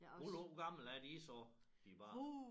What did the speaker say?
Hvor gamle er de så de børn